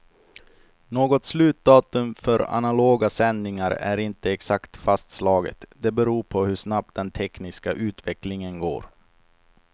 Något slutdatum för analoga sändningar är inte exakt fastslaget, det beror på hur snabbt den tekniska utvecklingen går.